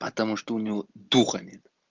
потому что у него духа нет